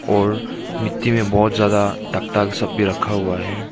और मिट्टी में बहोत ज्यादा टक टाक सभी रखा हुआ है।